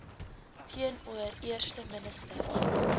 teenoor eerste minister